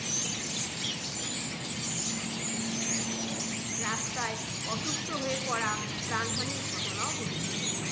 রাস্তায় অসুস্থ হয়ে পড়া প্রাণহানির ঘটনাও ঘটেছিল।